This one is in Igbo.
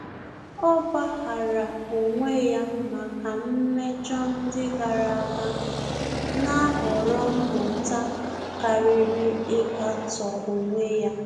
Ọ́ gbàghàrà onwe ya màkà mmejọ ndị gàrà ága, nà-àhọ̀rọ́ mmụta kàrị́rị́ íkàtọ́ onwe ya.